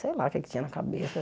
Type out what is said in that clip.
Sei lá o que é que tinha na cabeça.